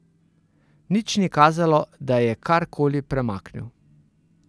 Nič ni kazalo, da je kar koli premaknil.